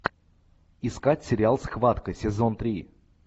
искать сериал схватка сезон три